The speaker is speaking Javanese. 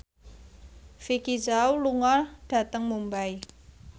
Vicki Zao lunga dhateng Mumbai